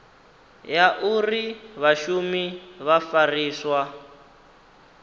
ya uri vhashumi vha fariswa